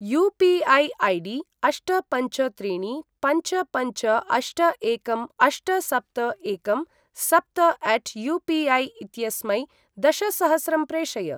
UPI. ID अष्ट पञ्च त्रीणि पञ्च पञ्च अष्ट एकं अष्ट सप्त एकं सप्त अट यू पी ऐ इत्यस्मै दशसहस्रं प्रेषय।